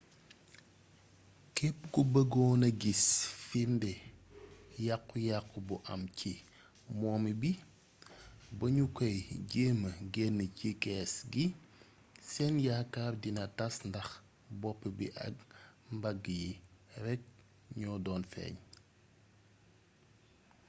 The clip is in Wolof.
képp ku bëggoon a gis firnde yàqu yàqu bu am ci momi bi ba ñu kay jeemma genne ci kees gi seen yaakaar dina tass ndax bopp bi ak mbagg yi rekk ñoo doon feeñ